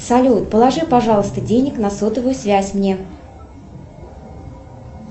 салют положи пожалуйста денег на сотовую связь мне